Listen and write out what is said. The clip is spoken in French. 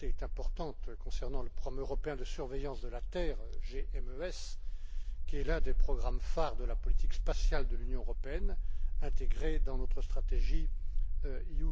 Glante est importante concernant le programme européen de surveillance de la terre qui est l'un des programmes phare de la politique spatiale de l'Union européenne intégré dans notre stratégie Europe